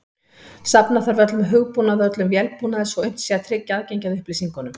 Safna þarf öllum hugbúnaði og öllum vélbúnaði svo unnt sé að tryggja aðgengi að upplýsingunum.